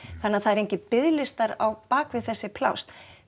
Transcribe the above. þannig það eru engir biðlistar á þessi pláss